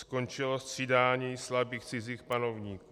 Skončilo střídání slabých cizích panovníků.